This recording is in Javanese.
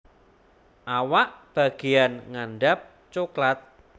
Awak bageyan ngandhap coklat